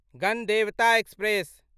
Ganadevata express